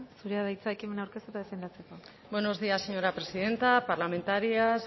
zurea da hitza ekimena aurkeztu eta defendatzeko buenos días señora presidenta parlamentarias